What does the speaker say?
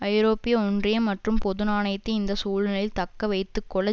ஐரோப்பிய ஒன்றியம் மற்றும் பொது நாணயத்தை இந்த சூழ்நிலையில் தக்க வைத்து கொள்ள